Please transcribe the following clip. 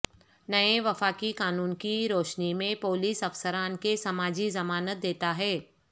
نئے وفاقی قانون کی روشنی میں پولیس افسران کے سماجی ضمانت دیتا ہے